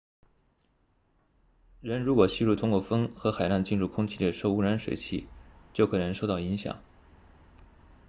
人如果吸入通过风和海浪进入空气的受污染水气就可能受到影响